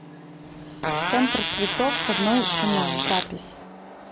центр цветов с одной ценой запись